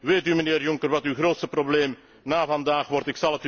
Weet u, mijnheer Juncker, wat uw grootste probleem na vandaag wordt?